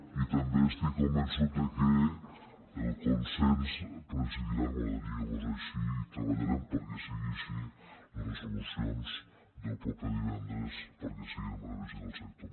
i també estic convençut que el consens presidirà m’agradaria que fos així i treballarem perquè sigui així les resolucions del proper divendres perquè siguin en benefici del sector